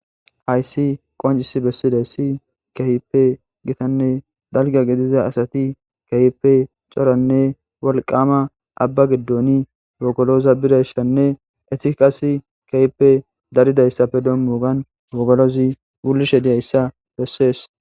hayssi qoncis bessiday si kehipe gitanne dalga gidiza asati kehippe coranne wolqama abba giddoni gokoloosa birayshanne etiqas kahippe daridayssafe dommogan gogolozi gulishe diyayssa bessees